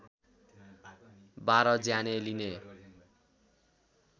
१२ ज्यानै लिने